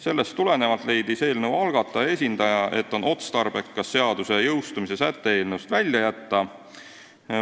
Sellest tulenevalt leidis eelnõu algataja esindaja, et on otstarbekas seaduse jõustumise säte eelnõust välja jätta.